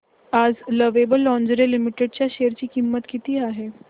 आज lovable lingerie limited च्या share ची किंमत किती आहे